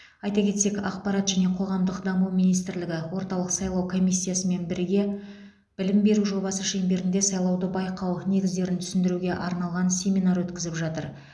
айта кетсек ақпарат және қоғамдық даму министрлігі орталық сайлау комиссиясымен бірге білім беру жобасы шеңберінде сайлауды байқау негіздерін түсіндіруге арналған семинар өткізіп жатыр